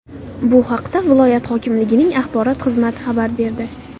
Bu haqda viloyat hokimligining axborot xizmati xabar berdi .